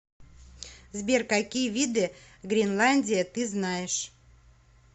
сбер какие виды гринландия ты знаешь